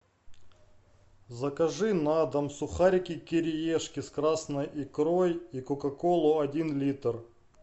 закажи на дом сухарики кириешки с красной икрой и кока колу один литр